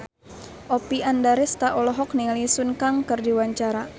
Oppie Andaresta olohok ningali Sun Kang keur diwawancara